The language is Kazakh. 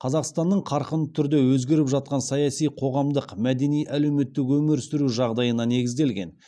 қазақстанның қарқынды түрде өзгеріп жатқан саяси қоғамдық мәдени әлеуметтік өмір сүру жағдайына негізделген